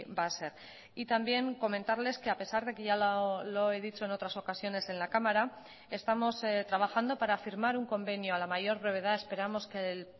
va a ser y también comentarles que a pesar de que ya lo he dicho en otras ocasiones en la cámara estamos trabajando para firmar un convenio a la mayor brevedad esperamos que el